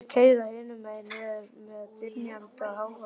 Veit að þeir keyra hinum megin niður með dynjandi hávaða.